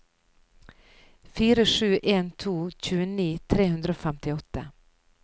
fire sju en to tjueni tre hundre og femtiåtte